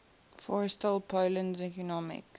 forestall poland's economic